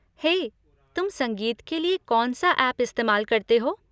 हे, तुम संगीत के लिए कौन सा ऐप इस्तेमाल करते हो?